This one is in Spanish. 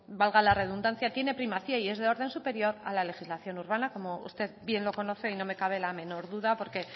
valga la redundancia tiene primacía y es de orden superior a la legislación urbana como usted bien lo conoce y no me cabe la menor duda porque